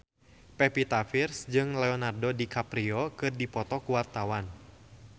Pevita Pearce jeung Leonardo DiCaprio keur dipoto ku wartawan